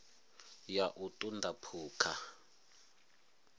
ya u ṱun ḓa phukha